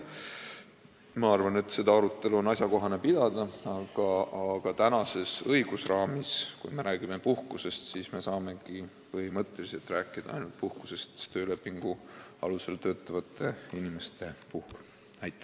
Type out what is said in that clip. Ma arvan, et seda arutelu on asjakohane pidada, aga tänastes õigusraamides, kui me räägime puhkusest, saame me põhimõtteliselt rääkida ainult töölepingu alusel töötavate inimeste puhkusest.